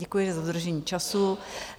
Děkuji za dodržení času.